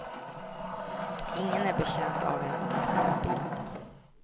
Ingen är betjänt av en glättad bild.